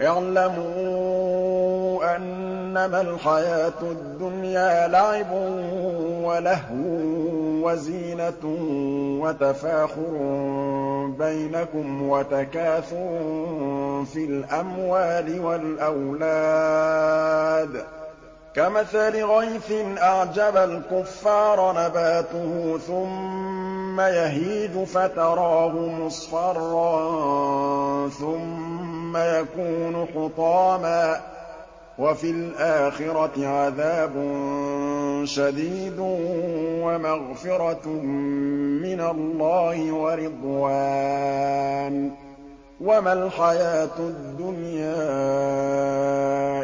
اعْلَمُوا أَنَّمَا الْحَيَاةُ الدُّنْيَا لَعِبٌ وَلَهْوٌ وَزِينَةٌ وَتَفَاخُرٌ بَيْنَكُمْ وَتَكَاثُرٌ فِي الْأَمْوَالِ وَالْأَوْلَادِ ۖ كَمَثَلِ غَيْثٍ أَعْجَبَ الْكُفَّارَ نَبَاتُهُ ثُمَّ يَهِيجُ فَتَرَاهُ مُصْفَرًّا ثُمَّ يَكُونُ حُطَامًا ۖ وَفِي الْآخِرَةِ عَذَابٌ شَدِيدٌ وَمَغْفِرَةٌ مِّنَ اللَّهِ وَرِضْوَانٌ ۚ وَمَا الْحَيَاةُ الدُّنْيَا